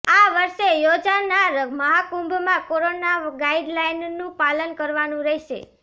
આ વર્ષે યોજાનાર મહાકુંભમાં કોરોના ગાઇડલાઇનનું પાલન કરવાનું રહેશે